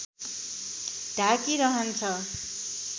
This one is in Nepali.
ढाकी रहन्छ